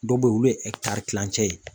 Dɔw bɛ yen olu ye kilancɛ ye.